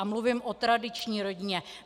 A mluvím o tradiční rodině.